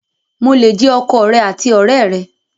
Mo le jẹ ọkọ rẹ àti ọ̀rẹ́ rẹ!